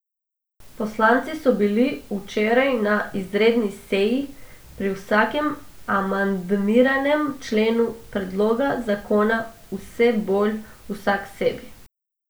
Poslanci so bili včeraj na izredni seji pri vsakem amandmiranem členu predloga zakona vse bolj vsaksebi.